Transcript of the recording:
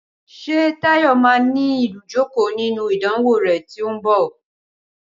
Ṣé Táyọ̀ máà ní ìdojúkọ nínú ìdánwò rè tí o ń bọ?